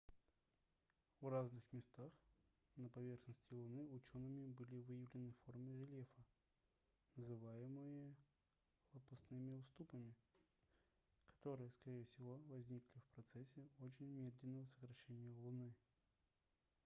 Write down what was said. в разных местах на поверхности луны учеными были выявлены формы рельефа называемые лопастными уступами которые скорей всего возникли в процессе очень медленного сокращения луны